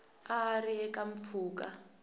a a ri eka mpfhuka